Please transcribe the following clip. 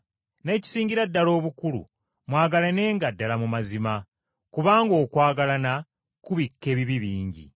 N’ekisingira ddala obukulu mwagalanenga ddala mu mazima, kubanga okwagalana kubikka ebibi bingi.